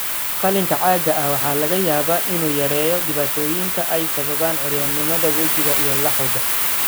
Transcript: Qalliinka caagga ah waxaa laga yaabaa inuu yareeyo dhibaatooyinka ay sababaan curyaannimada wejiga iyo laxawga.